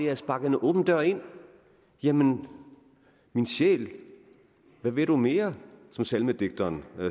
at sparke en åben dør ind jamen min sjæl hvad vil du mere som salmedigteren